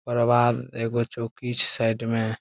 ओकर बाद एगो चौकी छै साइड में।